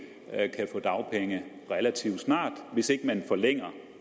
kan få dagpenge relativt snart hvis ikke man forlænger